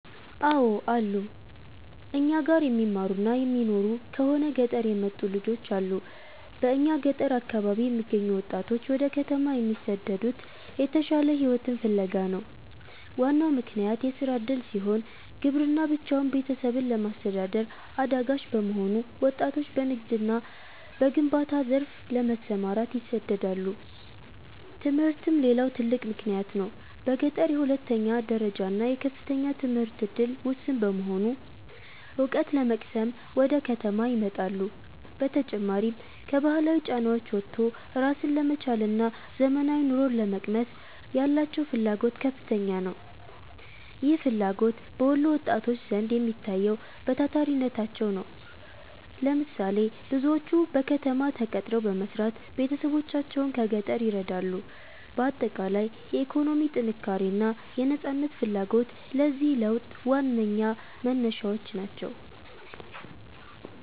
አው አሉ, እኛ ጋር የሚማሩና የሚኖሩ ከሆነ ገጠር የመጡ ልጆች አሉ በእኛ ገጠር አካባቢ የሚገኙ ወጣቶች ወደ ከተማ የሚሰደዱት የተሻለ ሕይወትን ፍለጋ ነው። ዋናው ምክንያት የሥራ ዕድል ሲሆን፣ ግብርና ብቻውን ቤተሰብን ለማስተዳደር አዳጋች በመሆኑ ወጣቶች በንግድና በግንባታ ዘርፍ ለመሰማራት ይሰደዳሉ። ትምህርትም ሌላው ትልቅ ምክንያት ነው። በገጠር የሁለተኛ ደረጃና የከፍተኛ ትምህርት ዕድል ውስን በመሆኑ፣ ዕውቀት ለመቅሰም ወደ ከተማ ይመጣሉ። በተጨማሪም፣ ከባህላዊ ጫናዎች ወጥቶ ራስን ለመቻልና ዘመናዊ ኑሮን ለመቅመስ ያላቸው ፍላጎት ከፍተኛ ነው። ይህ ፍላጎት በወሎ ወጣቶች ዘንድ የሚታየው በታታሪነታቸው ነው። ለምሳሌ፦ ብዙዎቹ በከተማ ተቀጥረው በመስራት ቤተሰቦቻቸውን ከገጠር ይረዳሉ። ባጠቃላይ፣ የኢኮኖሚ ጥንካሬና የነፃነት ፍላጎት ለዚህ ለውጥ ዋነኛ መነሻዎች ናቸው።